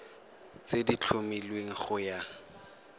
tse di tlhomilweng go ya